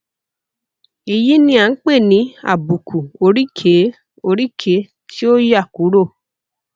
èyí ni a ń pè ní àbùkù oríkèé oríkèé tí ó yà kúrò